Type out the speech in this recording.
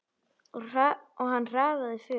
Og hann hraðaði för.